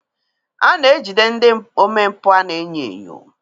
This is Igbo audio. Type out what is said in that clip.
A na-ejide ndị omempụ a na-enyo enyo.